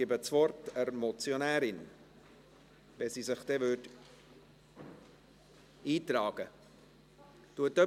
Ich gebe das Wort der Motionärin, wenn sie sich eintragen würde.